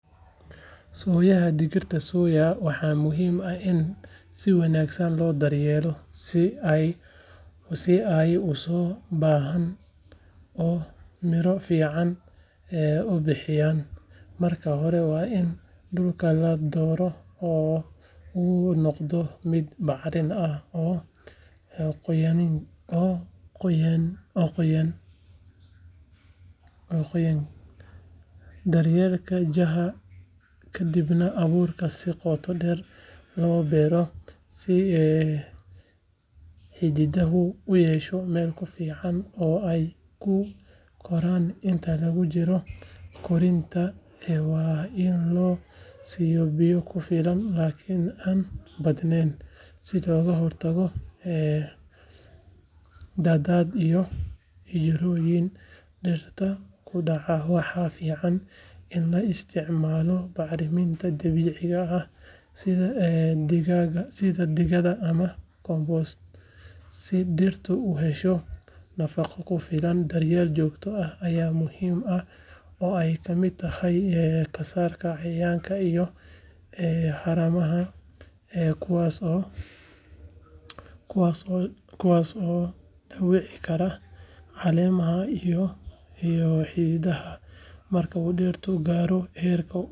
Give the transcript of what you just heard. Sooyaha digirta soya waxaa muhiim ah in si wanaagsan loo daryeelo si ay u soo baxaan oo miro fiican u bixiyaan marka hore waa in dhulka la doorto oo uu noqdo mid bacrin ah oo qoyaankiisu dhexdhexaad yahay kadibna abuurka si qoto dheer loo beero si xididdadu u hesho meel ku filan oo ay ku koraan inta lagu jiro koritaanka waa in la siiyo biyo ku filan laakiin aan badnayn si looga hortago daadad iyo jirrooyin dhirta ku dhaca waxaa fiican in la isticmaalo bacriminta dabiiciga ah sida digada ama compost si dhirtu u hesho nafaqo ku filan daryeel joogto ah ayaa muhiim ah oo ay ka mid tahay ka saarista cayayaanka iyo haramaha kuwaas oo dhaawici kara caleemaha iyo xididdada marka uu dhirta gaaro heerka ubaxa waa in la hubiyaa inaysan helin cudurro nooc kasta ha ahaadeen sidoo kale jarista haramaha iyo ciribtirka dhirta qallalan waxay ka caawisaa in tamarta dhirta loo isticmaalo qaybaha miro bixinta marka miro.